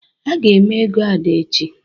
A ga eme ego Ada echi